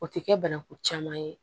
O tɛ kɛ banaku caman ye